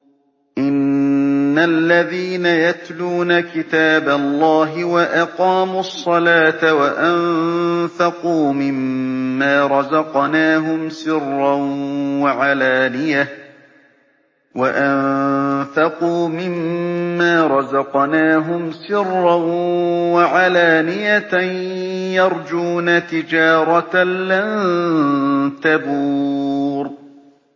إِنَّ الَّذِينَ يَتْلُونَ كِتَابَ اللَّهِ وَأَقَامُوا الصَّلَاةَ وَأَنفَقُوا مِمَّا رَزَقْنَاهُمْ سِرًّا وَعَلَانِيَةً يَرْجُونَ تِجَارَةً لَّن تَبُورَ